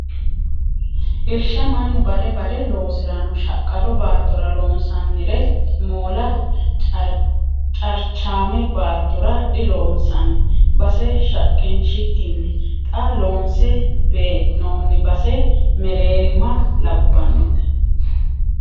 Irsha mannu bade bade loosirano shaqqado baattora loonsannire moola carchame baattora diloonsanni base shaqqinshikkinni xa loonse bee'nonni base mereerimma labbannote.